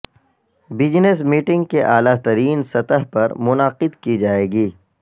business meeting کے اعلی ترین سطح پر منعقد کی جائے گی